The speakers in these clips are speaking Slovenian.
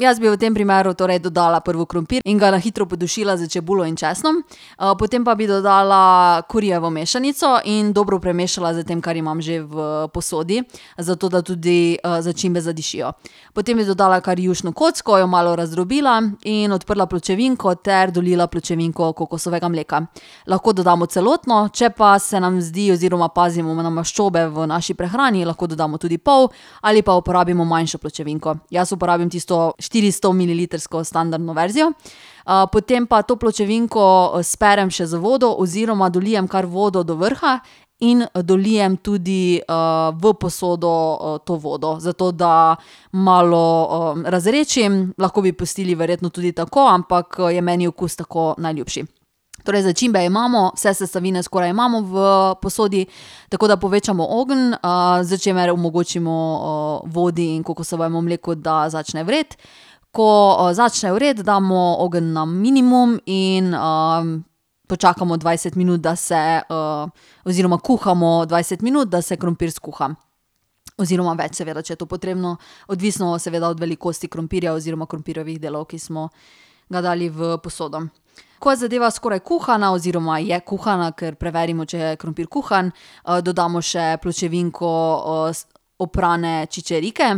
jaz bi v tem primeru torej dodala prvo krompir in ga na hitro podušila s čebulo in česnom, potem pa bi dodala karijevo mešanico in dobro premešala s tem, kar imam že v posodi, zato da tudi, začimbe zadišijo. Potem bi dodala kar jušno kocko, jo malo razdrobila in odprla pločevinko ter dolila pločevinko kokosovega mleka. Lahko dodamo celotno, če pa se nam zdi oziroma pazimo na maščobe v naši prehrani, lahko dodamo tudi pol ali pa uporabimo manjšo pločevinko. Jaz uporabim tisto štiristomililitrsko standardno verzijo. potem pa to pločevinko sperem še z vodo oziroma dolijem kar vodo do vrha in dolijem tudi, v posodo, to vodo, zato da malo, razredčim. Lahko bi pustili verjetno tudi tako, ampak, je meni okus tako najljubši. Torej začimbe imamo, vse sestavine skoraj imamo v posodi, tako da povečamo ogenj, s čimer omogočimo, vodi in kokosovemu mleku, da začne vreti. Ko, začne vreti, damo ogenj na minimum in, počakamo dvajset minut, da se, oziroma kuhamo dvajset minut, da se krompir skuha. Oziroma več seveda, če je to potrebno, odvisno seveda od velikosti krompirja oziroma krompirjevih delov, ki smo ga dali v posodo. Ko je zadeva skoraj kuhana oziroma je kuhana, kar preverimo, če je krompir kuhan, dodamo še pločevinko, oprane čičerike,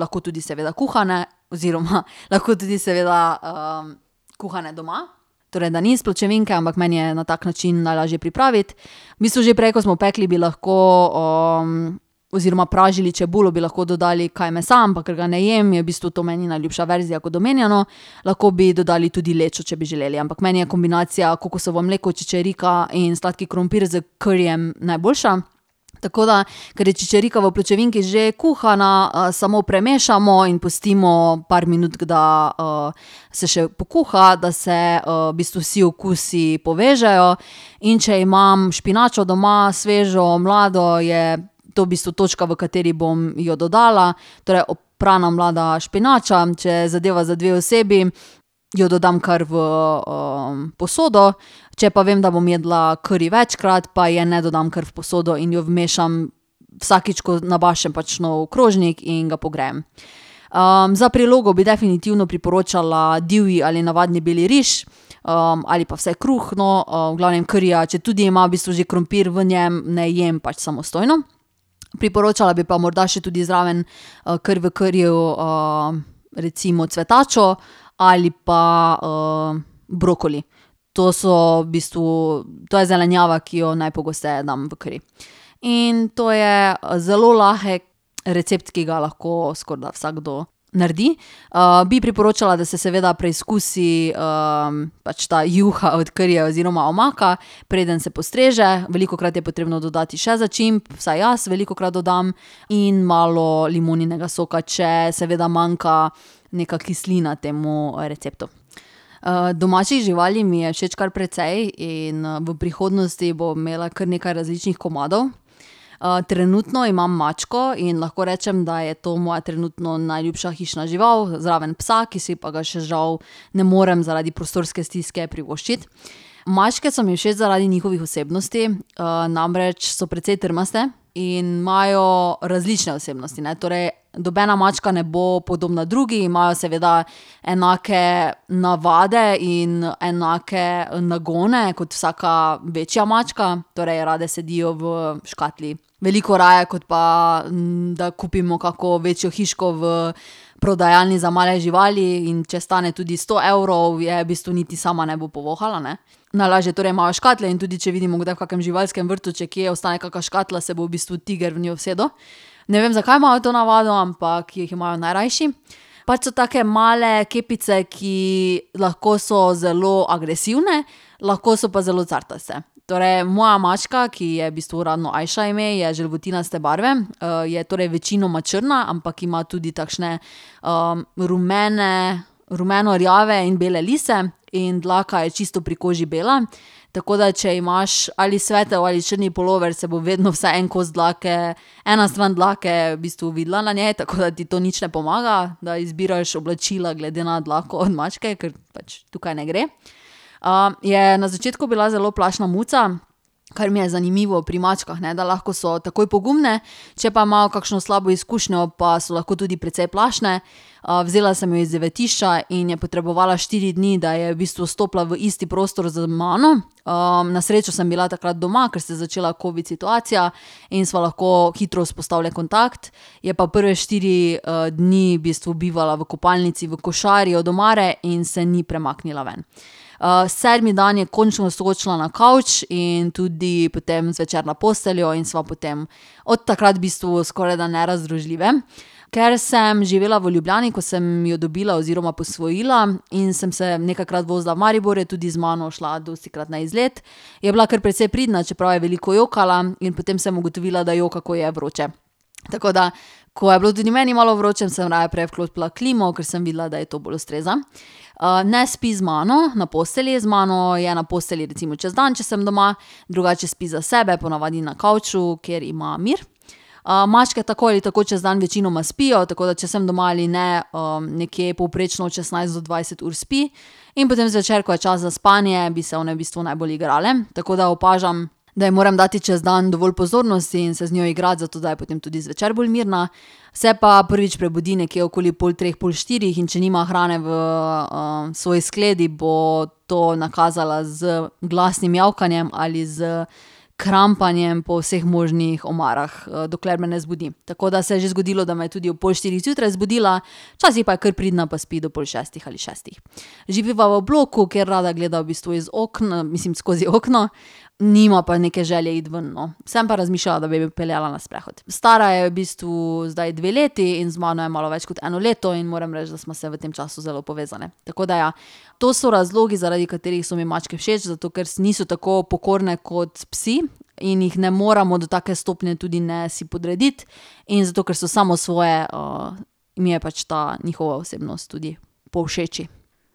lahko tudi seveda kuhane oziroma lahko tudi seveda, kuhane doma, torej da ni iz pločevinke, ampak meni jo je na tak način najlažje pripraviti. V bistvu že prej, ko smo pekli, bi lahko, oziroma pražili čebulo, bi lahko dodali kaj mesa, ampak ker ga ne jem, je v bistvu to meni najljubša verzija, kot omenjeno. Lahko bi dodali tudi lečo, če bi želeli. Ampak meni je kombinacija kokosovo mleko, čičerika in sladki krompir s karijem najboljša. Tako da ker je čičerika v pločevinki že kuhana, samo premešamo in pustimo par minutk, da, se še pokuha, da se, v bistvu vsi okusi povežejo. In če imam špinačo doma, svežo, mlado, je to v bistvu točka, v kateri bom jo dodala. Torej oprana mlada špinača. Če je zadeva za dve osebi, jo dodam kar v, posodo, če pa vem, da bom jedla kari večkrat, pa je ne dodam kar v posodo in jo vmešam vsakič, ko nabašem pač nov krožnik in ga pogrejem. za prilogo bi definitivno priporočala divji ali navadni beli riž, ali pa vsaj kruh, no. V glavnem karija, četudi ima v bistvu že krompir v njem, ne jem pač samostojno. Priporočala bi pa morda še tudi zraven, kar v kariju, recimo cvetačo ali pa, brokoli. To so v bistvu, to je zelenjava, ki jo najpogosteje dam v kari. In to je zelo lahek recept, ki ga lahko skorajda vsakdo naredi. bi priporočala, da se seveda preizkusi, pač ta juha od karija oziroma omaka, preden se postreže. Velikokrat je potrebno dodati še začimb, vsaj jaz velikokrat dodam, in malo limoninega soka, če seveda manjka neka kislina temu receptu. domačih živali mi je všeč kar precej in v prihodnosti bom imela kar nekaj različnih komadov. trenutno imam mačko in lahko rečem, da je to moja trenutno najljubša hišna žival zraven psa, ki si pa ga še žal ne morem zaradi prostorske stiske privoščiti. Mačke so mi všeč zaradi njihovih osebnosti, namreč so precej trmaste in imajo različne osebnosti, ne. Torej nobena mačka ne bo podobna drugi, imajo seveda enake navade in enake nagone kot vsaka večja mačka, torej rade sedijo v škatli, veliko raje, kot pa, da kupimo kako večjo hiško v prodajalni za male živali, in če stane tudi sto evrov, je v bistvu niti sama ne bo povohala, ne. Najlažje torej imajo škatle in tudi, če vidimo kdaj v kakem živalskem vrtu, če kje ostane kaka škatla, se bo v bistvu tiger v njo usedel. Ne vem, zakaj imajo to navado, ampak jih imajo najrajši. Pač so take male kepice, ki lahko so zelo agresivne, lahko so pa zelo cartaste. Torej moja mačka, ki ji je v bistvu uradno Ajša ime, je želvutinaste barve, je torej večinoma črna, ampak ima tudi takšne, rumene, rumeno rjave in bele lise in dlaka je čisto pri koži bela. Tako da če imaš ali svetel ali črn pulover, se bo vedno vsaj en kos dlake, ena stran dlake v bistvu videla na njej, tako da ti to nič ne pomaga, da izbiraš oblačila glede na dlako od mačke, ker pač tukaj ne gre. je na začetku bila zelo plašna muca, kar mi je zanimivo pri mačkah, ne, da lahko so takoj pogumne, če pa imajo kakšno slabo izkušnjo, pa so lahko tudi precej plašne. vzela sem jo iz zavetišča in je potrebovala štiri dni, da je v bistvu stopila v isti prostor z mano. na srečo sem bila takrat doma, kar se je začela covid situacija, in sva lahko hitro vzpostavili kontakt. Je pa prve štiri, dni v bistvu bivala v kopalnici v košari od omare in se ni premaknila ven. sedmi dan je končno skočila na kavč in tudi potem zvečer na posteljo in sva potem od takrat v bistvu skorajda nerazdružljivi. Ker sem živela v Ljubljani, ko sem jo dobila oziroma posvojila, in sem se nekajkrat vozila v Maribor, je tudi z mano šla dostikrat na izlet. Je bila kar precej pridna, čeprav je veliko jokala, in potem sem ugotovila, da joka, ko ji je vroče. Tako da ko je bilo tudi meni malo vroče, sem raje prej vklopila klimo, kar sem videla, da ji to bolj ustreza. ne spi z mano na postelji, z mano je na postelji recimo čez dan, če sem doma, drugače spi za sebe, po navadi na kavču, kjer ima mir. mačke tako ali tako čez dan večinoma spijo, tako da če sem doma ali ne, nekje povprečno od šestnajst do dvajset ur spi. In potem zvečer, ko je čas za spanje, bi se one v bistvu najbolj igrale. Tako da opažam, da ji moram dati čez dan dovolj pozornosti in se z njo igrati, zato da je potem tudi zvečer bolj mirna. Se pa prvič prebudi nekje okoli pol treh, pol štirih, in če nima hrane v, svoji skledi, bo to nakazala z glasnim mijavkanjem ali s krampanjem po vseh možnih omarah, dokler me ne zbudi. Tako da se je že zgodilo, da me je tudi ob pol štirih zjutraj zbudila, včasih pa je kar pridna pa spi do pol šestih ali šestih. Živiva v bloku, kjer rada gleda v bistvu iz mislim, skozi okno. Nima pa neke želje iti ven, no. Sem pa razmišljala, da bi jo peljala na sprehod. Stara je v bistvu zdaj dve leti in z mano je malo več kot eno leto in moram reči, da sva se v tem času zelo povezali. Tako da ja, to so razlogi, zaradi katerih so mi mačke všeč, zato ker niso tako pokorne kot psi in jih ne moremo do take stopnje tudi ne si podrediti, in zato ker so samosvoje, mi je pač ta njihova osebnost tudi povšeči.